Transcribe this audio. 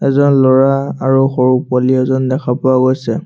এজন ল'ৰা আৰু সৰু পোৱালি এজন দেখা পোৱা গৈছে।